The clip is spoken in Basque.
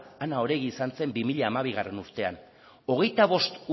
ana oregi izan zen bi mila hamabigarrena